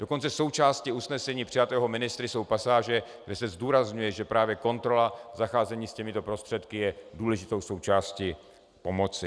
Dokonce součástí usnesení přijatého ministry jsou pasáže, kde se zdůrazňuje, že právě kontrola zacházení s těmito prostředky je důležitou součástí pomoci.